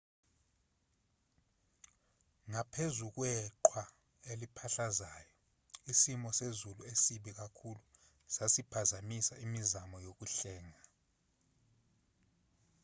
ngaphezu kweqhwa eliphahlazayo isimo sezulu esibi kakhulu sasiphazamisa imizamo yokuhlenga